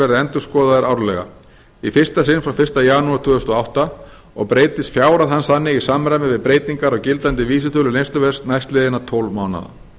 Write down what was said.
verði endurskoðaður árlega í fyrsta sinn frá fyrsta janúar tvö þúsund og átta og breytist fjárhæð hans þannig í samræmi við breytingar á gildandi vísitölu neysluverðs næstliðinna tólf mánaða